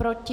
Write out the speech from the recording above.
Proti?